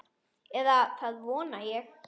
Eða það vona ég,